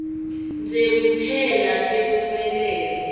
nje kuphela temphumelelo